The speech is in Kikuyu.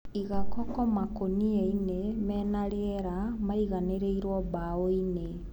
Iga koko nakũniani me nariera, maiganĩrĩirwo mbaoinĩ.